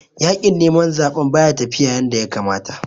Yaƙin neman zaɓen baya tafiya yanda ya kamata